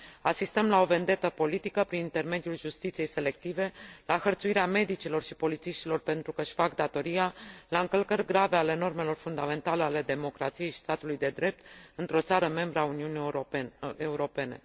Asistăm la o vendetă politică prin intermediul justiției selective, la hărțuirea medicilor și polițiștilor pentru că își fac datoria, la încălcări grave ale normelor fundamentale ale democrației și statului de drept într o țară membră a Uniunii Europene.